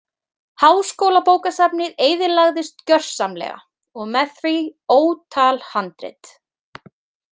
Háskólabókasafnið eyðilagðist gjörsamlega og með því ótal handrit.